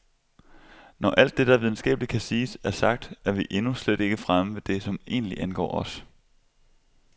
Når alt det, der videnskabeligt kan siges, er sagt, er vi endnu slet ikke fremme ved det som egentlig angår os.